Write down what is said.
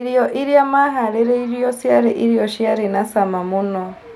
Irio iria maharĩrĩirwo ciarĩ irio ciarĩ na cama mũno.